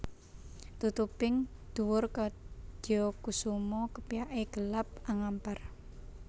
Tutuping dhuwur kadya kusuma kepyake gelap angampar